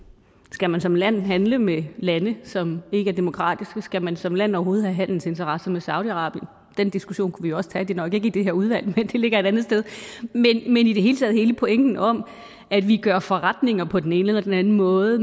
skal man som land handle med lande som ikke er demokratiske skal man som land overhovedet have handelsinteresser med saudi arabien den diskussion kunne vi også tage det er nok ikke i det her udvalg men det ligger andetsteds men i det hele taget hele pointen om at vi gør forretninger på den ene eller den anden måde